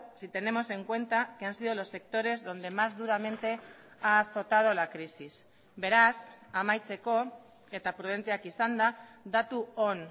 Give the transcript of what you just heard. si tenemos en cuenta que han sido los sectores donde más duramente ha azotado la crisis beraz amaitzeko eta prudenteak izanda datu on